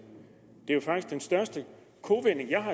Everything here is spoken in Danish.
det er faktisk den største kovending jeg har